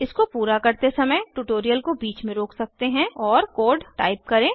इसको पूरा करते समय ट्यूटोरियल को बीच में रोक सकते हैं और कोड टाइप करें